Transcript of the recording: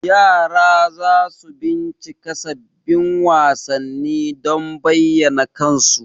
yara za su bincika sabbin wasanni don bayyana kansu.